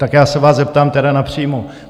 Tak já se vás zeptám tedy napřímo.